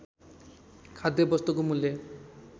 खाद्य वस्तुको मूल्य